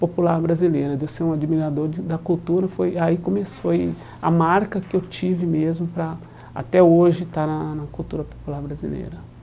popular brasileira, de eu ser um admirador de da cultura foi, aí começou e a marca que eu tive mesmo para, até hoje, estar na na cultura popular brasileira.